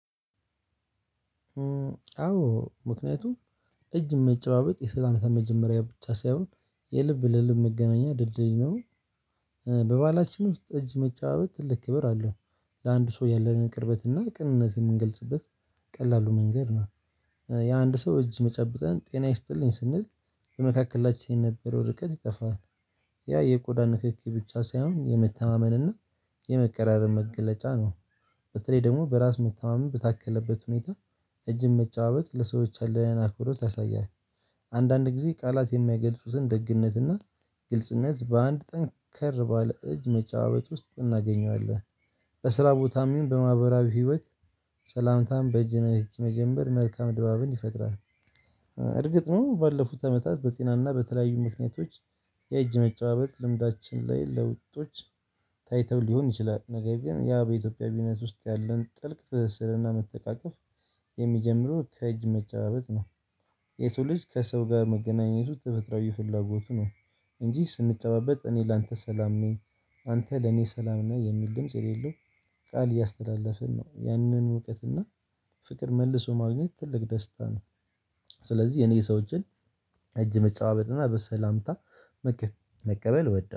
አዎ ምክንያቱም እጅ መጨባበጥ የሰላምታ መጀመሪያ ብቻ ሳይሆን የልብ ለልብ መገናኛ ድልድይ ነው። በባላችንም ጠጅ መጫወት ትልቅ ክብር አለው። ለአንድ ሰው ያለንን ቅርበትና ቅንነት የምንገልጽበት ቀላሉ መንገድ ነው። የአንድ ሰው እጅ መጨብጠን ጤና ይስጥልኝ ስንል በመካከላችን የነበረው ርቀት ይጠፋል። ያ የቆዳ ንክኪ ብቻ ሳይሆን የመተማመንና የመቀራረብ መገለጫ ነው። በተለይ ደግሞ በራስ መተማመን በታከለበት ሁኔታ እጅን መጫባበጥ ለሰዎች አለህን አክብሮት ያሳያል። አንዳንድ ጊዜ ቃላት የሚይገልጹትን ደግነትና ግልጽነት በአንድ ጠንከር ባለ እጅ መጫባበጥ ውስጥ እናገኘዋለን። በስራ ቦታም ይሁን በማህበራዊ ህይወት ሰላምታ በእጅ በእጅ መጀመር መልካም ድባብን ይፈጥራል። እርግጥ ነው ባለፉት አመታት በጤናና በተለያዩ ምክንያቶች የእጅ መጨባበጥ ልምዳችን ላይ ለውጦች ታይተው ሊሆን ይችላል። ነገር ግን ያ በኢትዮጵያዊነት ውስጥ ያለን ጥልቅ ትስስርና መተቃቀፍ የሚጀምረው ከእጅ መጨባበጥ ነው። የሰው ልጅ ከሰው ጋር መገናኘቱ ተፈጥሮአዊ ፍላጎቱ ነው። እንጂ ስንጨባበጥ እኔ ላንተ ሰላም ነኝ አንተ ለኔ ሰላም ነህ የሚል ድምጽ የሌለው ቃል እያስተላለፍን ነው። ያንን እውቀትና ፍቅር መልሶ ማግኘት ትልቅ ደስታ ነው። ስለዚህ የኔ ሰዎ እጅን እጅ መጨባበጥና በሰላምታ መቀበል እወዳለሁ